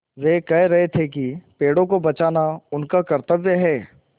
वे कह रहे थे कि पेड़ों को बचाना उनका कर्त्तव्य है